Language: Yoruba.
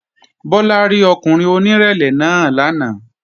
Bọ́lá rí ọkùnrin onírẹ̀lẹ̀ náà lánàá